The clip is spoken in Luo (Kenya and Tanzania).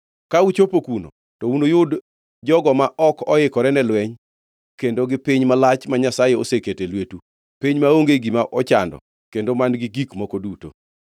Ka uchopo kuno, to unuyud jogo ma ok oikore ne lweny kendo gi piny malach ma Nyasaye oseketo e lwetu, piny maonge gima ochando kendo man-gi gik moko duto.”